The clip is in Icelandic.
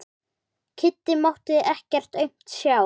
Kiddi mátti ekkert aumt sjá.